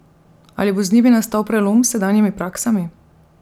Ali bo z njimi nastal prelom s sedanjimi praksami?